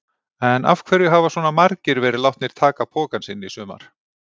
En af hverju hafa svona margir verið látnir taka pokann sinn í sumar?